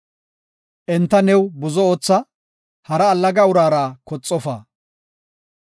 Enta new buzo ootha; hara allaga uraara koxofa.